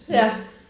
Ja